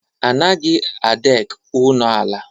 A naghị a dek ụnọala.